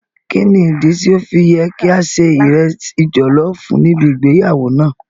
Kíni ìdí tí ọ́ fi yẹ ká ṣe ìresì jọ̀lọ́ọ̀fù níbi ìgbéyàwó náà?